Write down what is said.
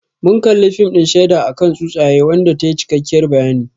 Mun kalli fim din shaida akan tsutsaye wanda tayi cikakkiyar bayani